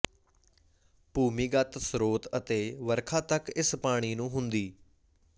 ਭੂਮੀਗਤ ਸਰੋਤ ਅਤੇ ਵਰਖਾ ਤੱਕ ਇਸ ਪਾਣੀ ਨੂੰ ਹੁੰਦੀ